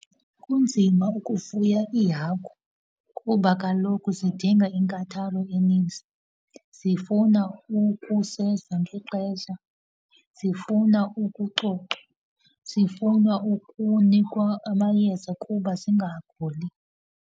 Kunzima ukufuya iihagu kuba kaloku zidinga inkathalo eninzi. Zifuna ukusezwa ngexesha, zifuna ukucocwa, zifuna ukunikwa amayeza kuba zingaguli.